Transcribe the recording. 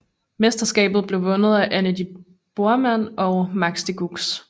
Mesterskabet blev vundet af Anne de Borman og Max Decugis